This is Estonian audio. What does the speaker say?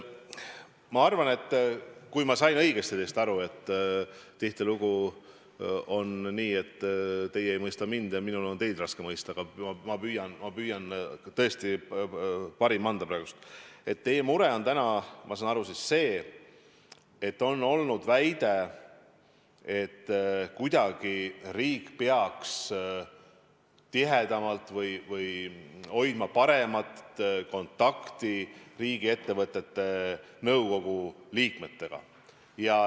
Ma arvan – kui ma sain õigesti teist aru, tihtilugu on nii, et teie ei mõista mind ja minul on teid raske mõista, aga ma püüan tõesti parima anda praegu –, et teie mure on täna see, et on olnud väide, et riik peaks kuidagi tihedamalt hoidma kontakti või hoidma paremat kontakti riigiettevõtete nõukogude liikmetega.